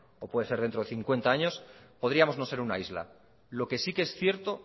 o dentro de cincuenta años podríamos no ser una isla lo que sí es cierto